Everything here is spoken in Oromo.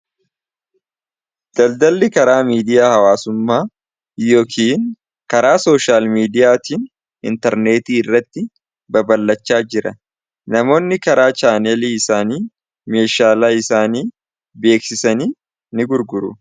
daldalli karaa miidiyaa hawaasummaa yookiin karaa sooshaal miidiyaatiin intarneetii irratti babalachaa jira namoonni karaa chaanelii isaanii meeshaalaa isaanii beeksisanii ni gurguru